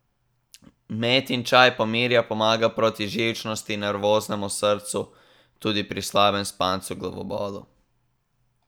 Metin čaj pomirja, pomaga proti živčnosti, nervoznemu srcu, tudi pri slabem spancu, glavobolu.